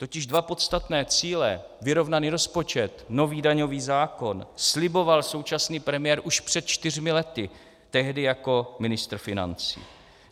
Totiž dva podstatné cíle - vyrovnaný rozpočet, nový daňový zákon - sliboval současný premiér už před čtyřmi lety, tehdy jako ministr financí.